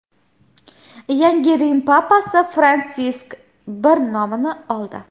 Yangi Rim papasi Fransisk I nomini oldi.